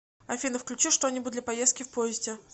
афина включи что нибудь для поездки в поезде